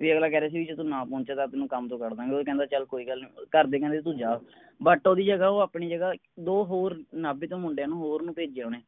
ਵੀ ਅਗਲਾ ਕਹਿ ਰਿਹਾ ਸੀ ਜੇ ਤੂੰ ਨਾ ਪਹੁੰਚਿਆ ਤਾਂ ਤੈਂਨੂੰ ਕੰਮ ਤੋਂ ਕਢ ਦਿਆਂ ਗੇ ਉਹ ਕਹਿੰਦਾ ਚਲ ਕੋਈ ਗੱਲ ਨੀ ਘਰਦੇ ਕਹਿੰਦੇ ਤੂੰ ਜਾ but ਓਹਦੀ ਜਗਾਹ ਉਹ ਆਪਣੀ ਜਗਾਹ ਦੋ ਹੋਰ ਨਾਭੇ ਤੋਂ ਮੁੰਡਿਆਂ ਨੂੰ ਹੋਰ ਨੂੰ ਭੇਜਿਆ ਓਹਨੇ